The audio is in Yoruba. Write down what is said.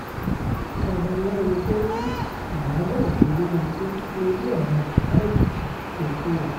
babaláwo tó ní ìyàbọ̀ ọjọ́ máa kú lórí ọ̀rọ̀ baba ìjèṣà ti kú o